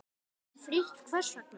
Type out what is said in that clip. Frítt Hvers vegna?